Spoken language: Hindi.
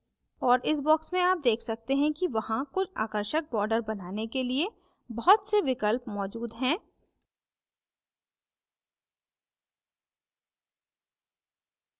और इस box में आप देख सकते हैं कि वहां कुछ आकर्षक borders बनाने के लिए बहुत से विकल्प मौजूद हैं